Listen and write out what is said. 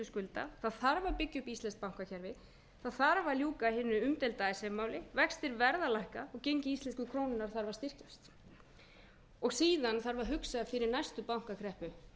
skulda það þarf að byggja upp íslenskt bankakerfi það þarf að ljúka hinu umdeilda icesave máli vextir verða að lækka og gengi íslensku krónunnar þarf að styrkjast og síðan þarf að hugsa fyrir næstu bankakreppu